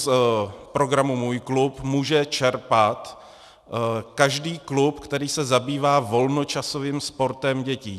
Z programu MŮJ KLUB může čerpat každý klub, který se zabývá volnočasovým sportem dětí.